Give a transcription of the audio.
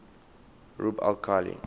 rub al khali